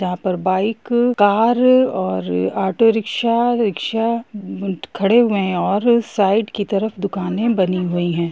यहां पर bike car और ऑटो रिक्शा रिक्शा खड़े हुए है और साइड की तरफ दुकाने बनी हुई है।